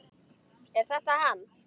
Er þetta hann?